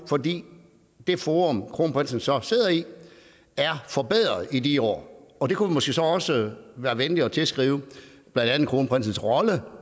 fordi det forum kronprinsen så sidder i er forbedret i de år og det kunne vi måske så også være venlige at tilskrive blandt andet kronprinsens rolle